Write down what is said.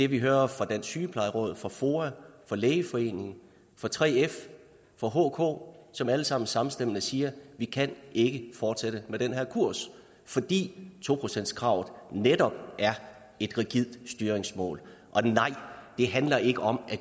vi hører fra dansk sygeplejeråd fra foa fra lægeforeningen fra 3f fra hk som alle sammen samstemmende siger vi kan ikke fortsætte med den her kurs fordi to procentskravet netop er et rigidt styringsmål og nej det handler ikke om at